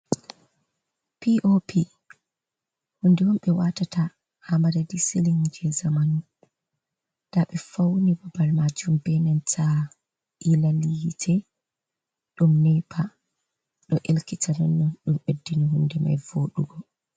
Pi o pi hunde on ɓewatata ha madadi silin je zamanu, nda ɓe fauni babal majum benenta ilal hite ɗum nepa ɗo elkita nonnon ɗum ɓeddini hunde mai voɗugo.